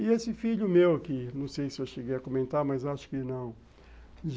E esse filho meu aqui, não sei se eu cheguei a comentar, mas acho que não.